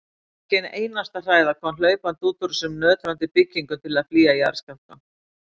Ekki ein einasta hræða kom hlaupandi út úr þessum nötrandi byggingum til að flýja jarðskjálftann.